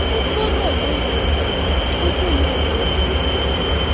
o gbọdọ lóye rẹ kó o tó lè wò ó um sàn